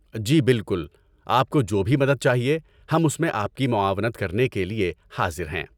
جی، بالکل! آپ کو جو بھی مدد چاہیے، ہم اس میں آپ کی معاونت کرنے کے لیے حاضر ہیں۔